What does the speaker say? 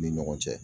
U ni ɲɔgɔn cɛ